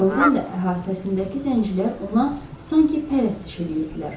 Doğrudan da, əhatəsindəki zəncilər ona sanki pərəstiş eləyirdilər.